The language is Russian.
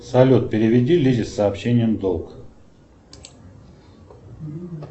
салют переведи лизе сообщением долг